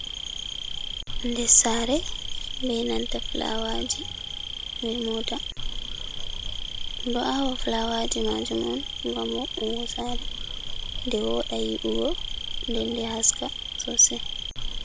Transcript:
Nder sare bei nanta flawaji, be mota. Ɗo awa flawaji majum on gam boungo sare nde woda yi’ugo, nden nde haska sosai.